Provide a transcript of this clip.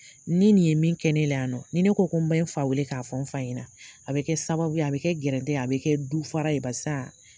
Ni nin ye min kɛ ne la yan nɔ, ni ne ko ko n bɛ n fa weele k'a fɔ n fa ɲɛna, a bɛ kɛ sababuye a bɛ kɛ gɛrɛtɛ ye, a bɛ kɛ du fara ye barisa